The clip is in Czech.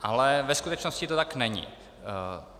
Ale ve skutečnosti to tak není.